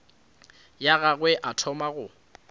ya gagwe a thoma go